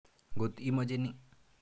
Ngot imoche ni.